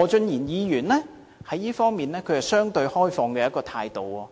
何俊賢議員則在這方面持相對開放的態度。